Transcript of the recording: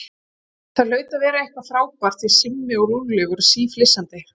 Það hlaut að vera eitthvað frábært því að Simmi og Lúlli voru síflissandi.